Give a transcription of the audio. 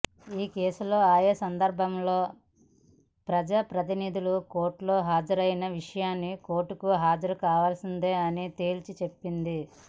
ఈ కేసుల్లో ఆయా సందర్భాల్లో ప్రజా ప్రతినిధులు కోర్టుకు హాజరైన విషయాన్ని కోర్టుకు హాజరు కావాల్సిందేనని తేల్చి చెప్పింది